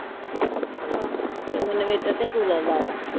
ਤੇ ਮੈਨੂੰ ਪਤਾ ਕੀ ਲੱਗਦਾ ਆ।